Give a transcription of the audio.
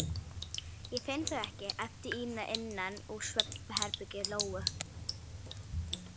Ég finn þau ekki, æpti Ína innan úr svefnherbergi Lóu.